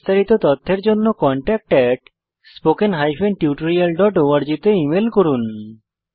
বিস্তারিত তথ্যের জন্য contactspoken tutorialorg তে ইমেল করুন